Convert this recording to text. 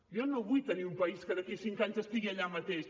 jo no vull tenir un país que d’aquí a cinc anys estigui allà mateix